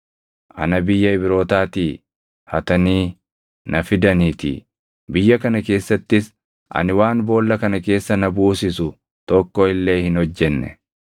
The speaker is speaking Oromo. Ana biyya Ibrootaatii hatanii na fidaniitii; biyya kana keessattis ani waan boolla kana keessa na buusisu tokko illee hin hojjenne.”